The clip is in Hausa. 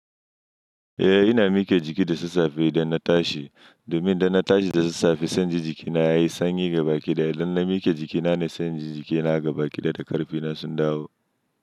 Eh ina mike jiki da sassafe idan na tashi domin idan na tashi da sassafe sanyi jikina yayi sanyi ga baƙi daya. Idan na mike jikina ne sanyi jikina ga baƙi daya da ƙarfi na sun dawo.